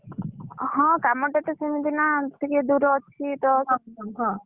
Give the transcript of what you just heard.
ହଁ କାମଟା ତ ସେମିତି ନା ଟିକେ ଦୂର ଅଛି ତ ସେଥିପାଇଁ